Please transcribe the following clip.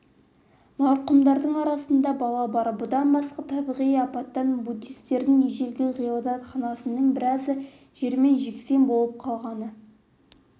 марқұмдардың арасында бала бар бұдан басқа табиғи апаттан буддистердің ежелгі ғибадатханасының біразы жермен жексен болып қалғаны